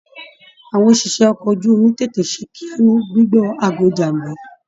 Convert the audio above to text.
Àwọn òṣìṣẹ́ ọkọ̀ ojú omi tètè ṣe kíá ní gbigbọ aago ìjàmbá.